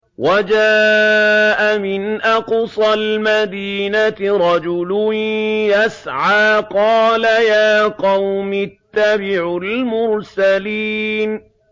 وَجَاءَ مِنْ أَقْصَى الْمَدِينَةِ رَجُلٌ يَسْعَىٰ قَالَ يَا قَوْمِ اتَّبِعُوا الْمُرْسَلِينَ